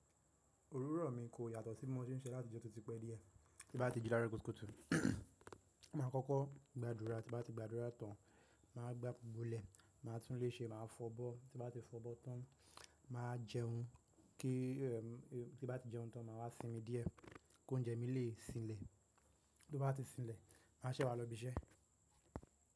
Orúrọ̀ mi kò yàtọ̀ sí mo tí ń ṣe láti ìjọ̀ọ̀tí ti pẹ́ díẹ̀. Tí bá ti jí láro kútúkutù, máa kọ́kọ́ gbàdúrà tí bá ti gbàdúrà tán, máa gbá bulẹ̀ máa tún léṣe máa fọbọ́ tí bá ti fọbọ tán máa jẹun kí eh tí bá ti jẹun tán màá wá sinmi díẹ̀ kóúnjẹ mí lè sinlẹ̀ bí ó bá ti sinlẹ̀ màá ṣẹ wa lọ ibi iṣẹ́.